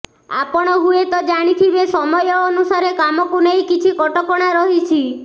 ଆପଣ ହୁଏତ ଜାଣିଥିବେ ସମୟ ଅନୁସାରେ କାମକୁ ନେଇ କିଛି କଟକଣା ରହିଛି